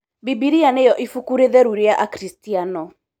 Bibilia nĩyo ibuku rĩtheru rĩa akristiano